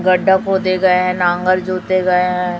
गड्ढा खोदे गये है नांगल जोते गये है।